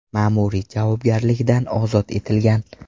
ma’muriy javobgarlikdan ozod etilgan.